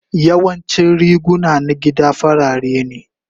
Yawancin riguna na gida farare ne.